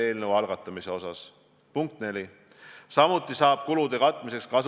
Kultuuriloolasena ma tean, et selliste epideemiate korral on tegu kahe aspektiga.